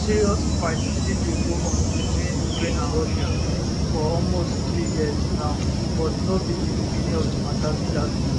serious fight still dey go on between ukraine and russia for almost three years now but no be di beginning of di mata be dat